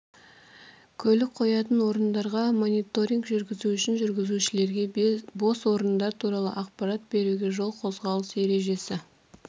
көлік қоятын орындарға мониторинг жүргізу үшін жүргізушілерге бос орындар туралы ақпарат беруге жол қозғалыс ережесі